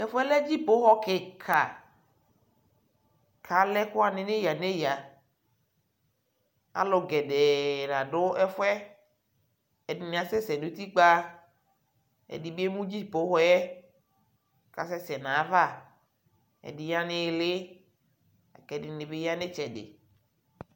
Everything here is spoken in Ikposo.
Tɛfuɛ lɛ dzifoxɔ kika kʋ alɛ ɛkʋwani nʋ iyaiya Alʋ gedee la dʋ ɛfuɛ Edini asɛsɛ nʋ utikpa, ɛdini emu dzifoxɔ yɛ kʋ asɛsɛ nʋ ayʋ ava Ɛdι ya nʋ iili kʋ ɛdini bι ya nʋ itsɛdi